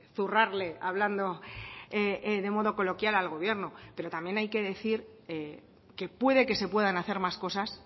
zurrarle hablando de modo coloquial al gobierno pero también hay que decir que puede que se puedan hacer más cosas